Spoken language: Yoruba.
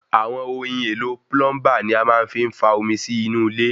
Àwọn ohin èlo plumber ni a fi máa ń fa omi sí inú ilé